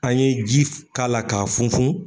An ye ji f k'a la k'a funfun